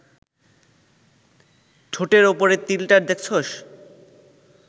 ঠোঁটের ওপরের তিলটা দেখছস